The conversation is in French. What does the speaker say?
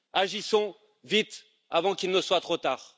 agissons vite avant qu'il ne soit trop tard.